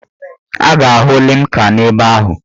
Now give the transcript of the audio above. A ga-ahụ limca n'ebe ahụ.